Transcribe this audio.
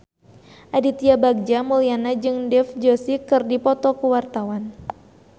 Aditya Bagja Mulyana jeung Dev Joshi keur dipoto ku wartawan